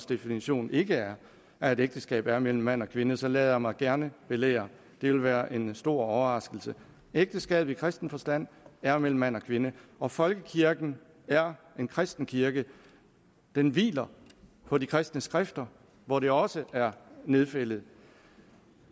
definition ikke er at et ægteskab er mellem mand og kvinde så lader jeg mig gerne belære det ville være en stor overraskelse ægteskabet i kristen forstand er mellem mand og kvinde og folkekirken er en kristen kirke den hviler på de kristne skrifter hvor det også er nedfældet